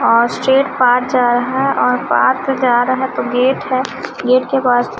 gate है gate के पास--